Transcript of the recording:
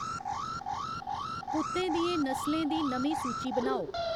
कुत्तें दियें नस्लें दी नमीं सूची बनाओ